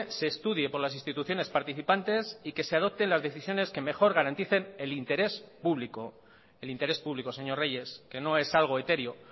se estudie por las instituciones participantes y que se adopten las decisiones que mejor garanticen el interés público el interés público señor reyes que no es algo etéreo